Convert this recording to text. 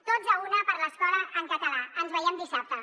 tots a una per l’escola en català ens veiem dissabte